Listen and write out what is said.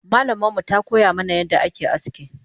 Malamanmu takoya mana yadda ake aski